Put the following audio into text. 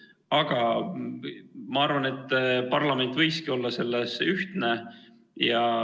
Aga ma arvan, et parlament võiski olla selles ühtne.